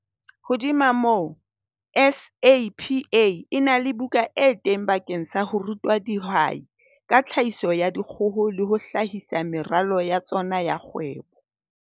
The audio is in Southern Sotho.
Hodima moo, SAPA e na le buka e teng bakeng sa ho ruta dihwai ka tlhahiso ya dikgoho le ho hlahisa meralo ya tsona ya kgwebo.